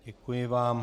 Děkuji vám.